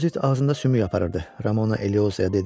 Bozit ağzında sümük aparırdı, Ramona Eliozaya dedi.